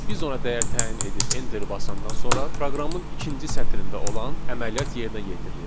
Biz ona dəyər təyin edib enteri basandan sonra proqramın ikinci sətrində olan əməliyyat yerinə yetirilir.